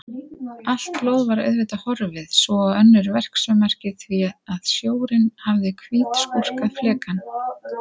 Allt blóð var auðvitað horfið svo og önnur verksummerki því að sjórinn hafði hvítskúrað flekann.